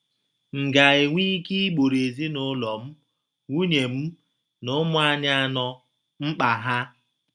M ga - enwe ike igboro ezinụlọ m — nwunye m na ụmụ anyị anọ — mkpa ha?